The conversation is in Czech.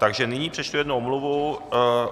Takže nyní přečtu jednu omluvu.